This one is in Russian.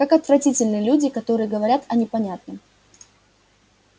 как отвратительны люди которые говорят о непонятном